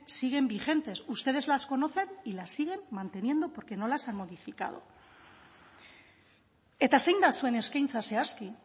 siguen vigentes ustedes las conocen y las siguen manteniendo porque no las han modificado eta zein da zuen eskaintza zehazki